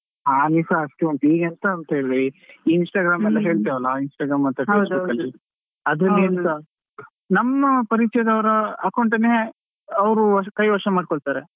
ಹಾನಿಸಾ ಅಷ್ಟೇ ಉಂಟು ಈಗ ಎಂತ ಅಂತ ಹೇಳಿದ್ರೆ Instagram ಎಲ್ಲ ಹೇಳ್ತವಲ್ಲ ಆ Instagram ಮತ್ತೆFacebook ಅಲ್ಲಿ ಅದು ಎಂತ ನಮ್ಮ ಪರಿಚಯದವರ account ಅನ್ನೆ ಅವರು ಕೈವಶ ಮಾಡಿಕೊಳ್ಳುತ್ತಾರೆ.